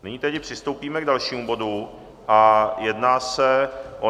Nyní tedy přistoupíme k dalšímu bodu a jedná se o